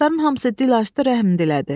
Ağacların hamısı dil açdı, rəhm dilədi.